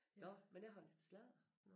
Nåh men jeg har lidt sladder